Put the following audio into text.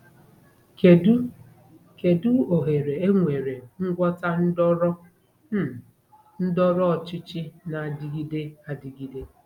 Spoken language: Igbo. Kedu Kedu ohere enwere ngwọta ndọrọ um ndọrọ ọchịchị na-adịgide adịgide?